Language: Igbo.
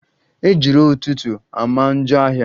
Ejiro ụtụtụ ama njọ ahia